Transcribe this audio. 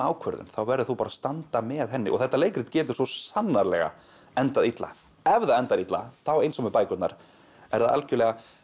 ákvörðun þá verður þú bara að standa með henni og þetta leikrit getur svo sannarlega endað illa ef það endar illa þá eins og með bækurnar er það algjörlega